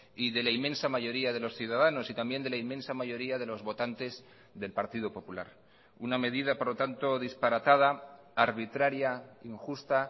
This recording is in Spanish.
y de la inmensa mayoría de los ciudadanos y también de la inmensa mayoría de los votantes del partido popular una medida por lo tanto disparatada arbitraria injusta